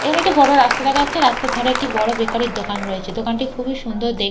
এখানে একটি বড় রাস্তা দেখা যাচ্ছে রাস্তার ধারে একটি বড় বেকারি -র দোকান রয়েছে দোকানটি খুবই সুন্দর দেখ--